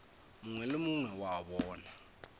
mongwe le mongwe wa bona